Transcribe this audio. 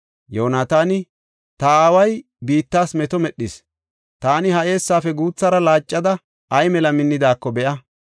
Yoonataani, “Ta aaway biittas meto medhis. Taani ha eessaafe guuthara laaccida ay mela minnidaako be7a.